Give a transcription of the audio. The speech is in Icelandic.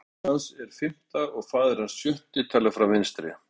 Móðir hans er fimmta og faðir hans sjötti, talið frá vinstri.